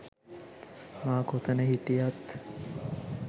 මා කොතන හිටියත්